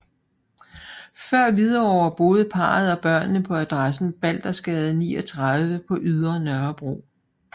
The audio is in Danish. Før Hvidovre boede parret og børnene på adressen Baldersgade 39 på Ydre Nørrebro